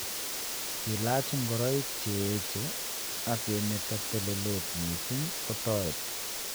Kilaach ngoroik cheech ak kemeto telelet mising' kotoreti